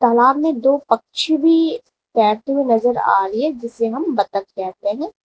तालाब में सामने दो पक्षी भी तैरते हुए नजर आ रहे हैं जिसे हम बतख कहते हैं।